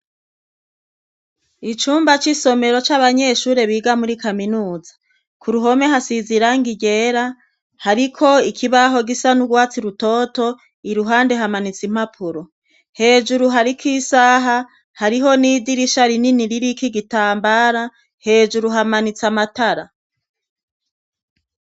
Icumba c'isomero c'abanyeshure biga muri kaminuza, ku ruhome hasize irangi ryera, hariko ikibaho gisa n'urwatsi rutoto iruhande hamanitse impapuro, hejuru hariko isaha hariho n'idirisha rinini ririko igitambara hejuru hamanitse amatara.